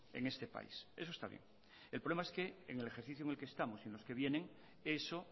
en este país eso está bien el problema es que en el ejercicio en el que estamos y en los que vienen eso